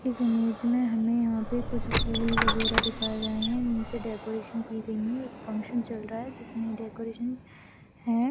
इस इमेज में हमें यहाँ पे कुछ फूल वगैरह दिखाए गये हैं इनसे डेकोरैशन कि गई हैं एक फंकशन चल रहा हैं जिसमें डेकरैशन है।